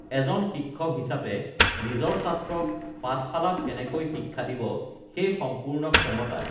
এজন শিক্ষক হিচাপে নিজৰ ছাত্ৰক পাঠশালাত কেনেকৈ শিক্ষা দিব সেই সম্পূৰ্ণ ক্ষমতা